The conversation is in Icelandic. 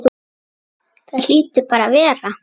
Það hlýtur bara að vera.